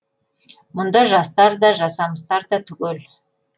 мұнда жастар да жасамыстар да түгел